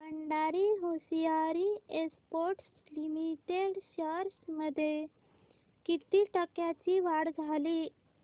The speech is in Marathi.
Bhandari hosiery exports limited shares मध्ये किती टक्क्यांची वाढ झाली